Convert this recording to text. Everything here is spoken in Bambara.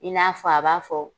I n'a fɔ a b'a fɔ